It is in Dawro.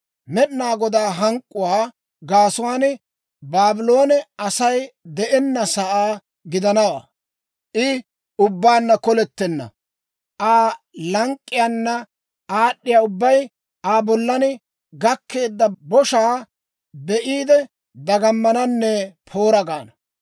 Med'inaa Godaa hank'k'uwaa gaasuwaan, Baabloone Asay de'ennasaa gidanawaa; I ubbaanna kolettenna. Aa lank'k'iyaana aad'd'iyaa ubbay Aa bollan gakkeedda boshaa be'iide, dagamananne, ‹Poora!› gaana.